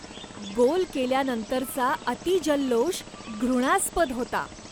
गोल केल्यानंतरचा अतिजल्लोष घृणास्पद होता.